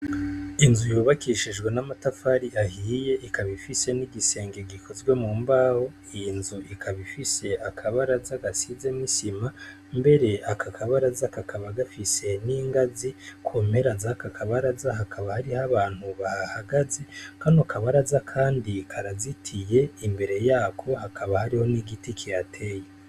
Inzu yubakishijwe n'amatafari ahiye ikaba ifise n'igisenge gikozwe mu mbaho y' inzu ikaba ifise akabaraza gasize misima mbere akakabarazakakaba gafise n'ingazi kompera zakakabaraza hakabariho abantu bahagaze kano kabaraza, kandi karazitiye imbere yako hakaba hariho n'igiti kihateye.